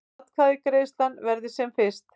Atkvæðagreiðslan verði sem fyrst